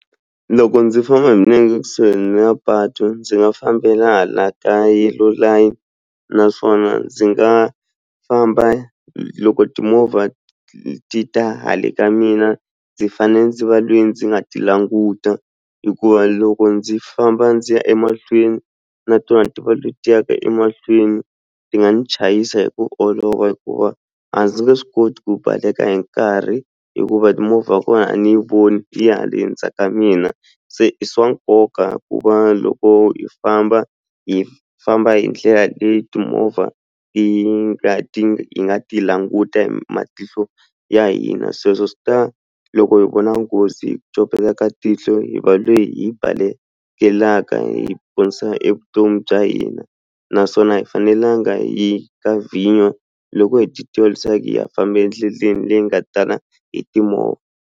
Loko ndzi famba hi milenge ekusuhi na patu ndzi nga fambela laha ka yellow line naswona ndzi nga famba loko timovha ti ta hale ka mina ndzi fanele ndzi va le ndzi nga ti languta hikuva loko ndzi famba ndzi ya emahlweni na tona ti va leti yaka emahlweni ti nga ni chayisa hi ku olova hikuva a ndzi nge swi koti ku baleka hi nkarhi hikuva movha ya kona a ni voni yi ha le ndzhaku ka mina se i swa nkoka ku va loko hi famba hi famba hi ndlela leyi timovha ti nga ti nga hi nga languta hi matihlo ya hina sweswo swi ta loko hi vona nghozi hi copeleka tihlo hi va le hi yi balekela hi ponisa evutomi bya hina naswona a hi fanelanga hi ka vhinyo loko hi leswaku hi ha famba endleleni leyi nga tala hi timovha.